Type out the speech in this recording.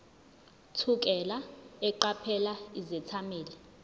thukela eqaphela izethameli